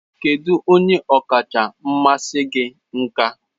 Kedu onye ọkacha mmasị gị nka?